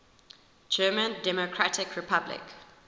german democratic republic